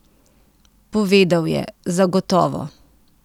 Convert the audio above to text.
Povedal je: "Zagotovo.